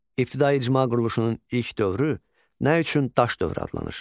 İbtidai icma quruluşunun ilk dövrü nə üçün daş dövrü adlanır?